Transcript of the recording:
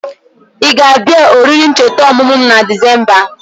I ga abia oriri ncheta omumu m na Disemba?